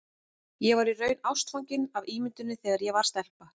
Ég var í raun ástfangin af ímynduninni þegar ég var stelpa.